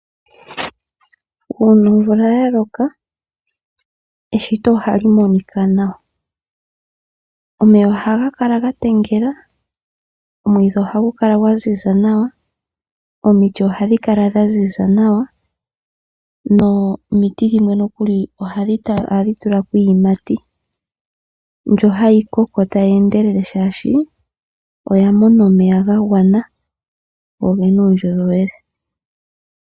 Uuna omvula ya loka eshito ohali monika nawa. Omeya ohaga kala ga talama, omwiidhi ohagu kala gwa ziza nawa, omiti ohadhi kala dha ziza nawa nomiti dhimwe nokuli ohadhi tula ko iiyimati mbyoka hayi koko tayi endelele shaashi oya mona omeya ga gwana yo oyi na uundjolowele.